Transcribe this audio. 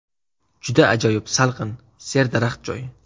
Juda ajoyib – salqin, serdaraxt joy.